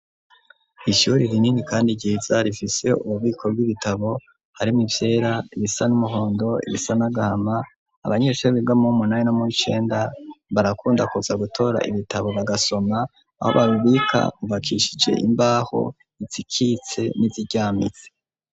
Ishuri rinini kandi ryiza rifise ububiko bw'ibitabo harimmo ivyera ibisa n'umuhondo ibisa n'agahama abanyeshuri biga muwu nani no muwi cenda barakunda kuza gutora ibitabo bagasoma aho babibika hubakishije imbaho izikitse n'iziryamitse.